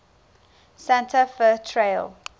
santa fe trail